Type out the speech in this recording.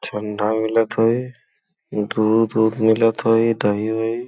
ठंडा मिलत ह ई। दूध -ओध मिलत ह ई दही - ओही।